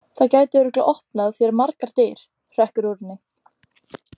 Það gæti örugglega opnað þér margar dyr, hrekkur út úr henni.